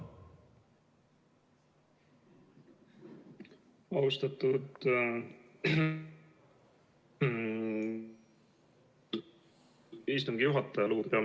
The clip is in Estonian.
Austatud Istungi juhataja!